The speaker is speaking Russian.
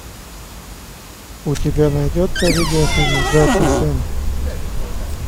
у тебя найдется видео фильм удачи сэм